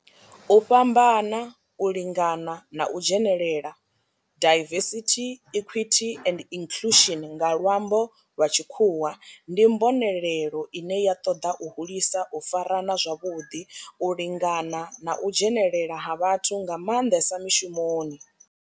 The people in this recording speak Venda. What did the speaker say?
U fhambana, u lingana na u dzhenelela diversity, equity and inclusion nga lwambo lwa tshikhuwa ndi mbonelelo ine ya toda u hulisa u farana zwavhuḓi, u lingana na u dzhenelela ha vhathu nga manḓesa mishumoni.